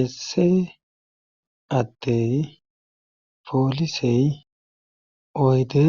Esse addey poolisey oyde